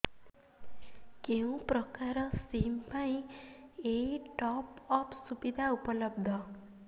କେଉଁ ପ୍ରକାର ସିମ୍ ପାଇଁ ଏଇ ଟପ୍ଅପ୍ ସୁବିଧା ଉପଲବ୍ଧ